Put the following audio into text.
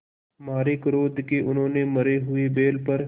मारे क्रोध के उन्होंने मरे हुए बैल पर